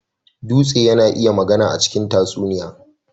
Dutse yana iya magana a cikin tatsuniya.